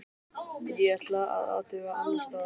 Ég ætla að athuga annars staðar.